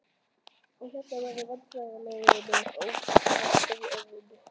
og- hérna- verður vandræðalegri með hverju orðinu.